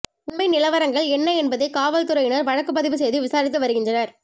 உண்மை நிலவரங்கள் என்ன என்பதை காவல் துறையினர் வழக்கு பதிவு செய்து விசாரித்து வருகின்றனர்